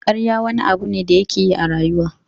Ƙarya wani abu ne da yake yi a rayuwa.